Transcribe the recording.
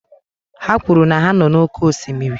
Ha kwuru na ha nọ n'oké osimiri